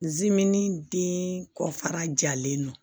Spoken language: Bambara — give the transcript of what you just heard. den kɔfara jalen don